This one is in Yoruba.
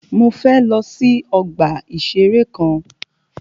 Mọ fẹ lọ sí ọgbà ìṣẹ̀rẹ́ kan.